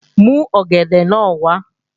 Mú ọ̀gẹ̀dẹ̀ náà wá!